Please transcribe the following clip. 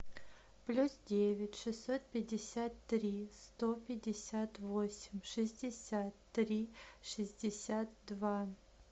плюс девять шестьсот пятьдесят три сто пятьдесят восемь шестьдесят три шестьдесят два